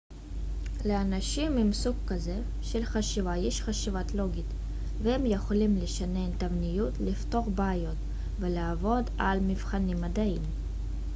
לאנשים עם סוג כזה של חשיבה יש חשיבה לוגית והם יכולים לשנן תבניות לפתור בעיות ולעבוד על מבחנים מדעיים